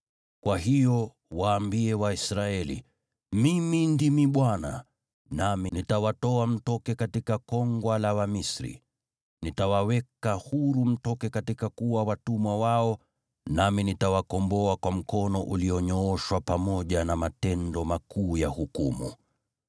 “Kwa hiyo, waambie Waisraeli: ‘Mimi ndimi Bwana , nami nitawatoa mtoke katika kongwa la Wamisri. Nitawaweka huru mtoke kuwa watumwa wao, nami nitawakomboa kwa mkono ulionyooshwa pamoja na matendo makuu ya hukumu.